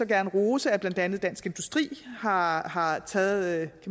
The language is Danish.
gerne rose at blandt andet dansk industri har har taget